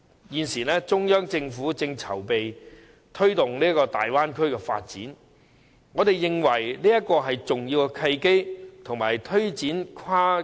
現時，中央政府正籌備推動粵港澳大灣區發展，我們認為這是推展跨境安老的重要契機。